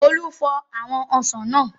Olú fọ àwọn ọsàn náà.